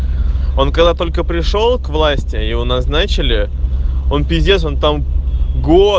он когда только пришёл к власти его назначили он пиздец он там год